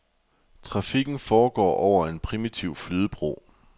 Trafikken foregår over en primitiv flydebro.